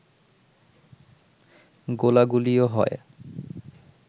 গোলাগুলিও হয়